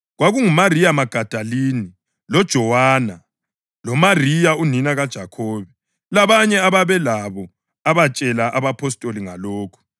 KwakunguMariya Magadalini, loJowana, loMariya unina kaJakhobe labanye ababelabo abatshela abapostoli ngalokhu.